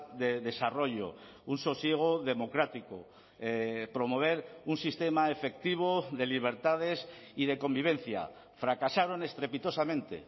de desarrollo un sosiego democrático promover un sistema efectivo de libertades y de convivencia fracasaron estrepitosamente